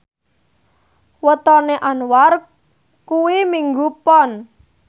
wetone Anwar kuwi Minggu Pon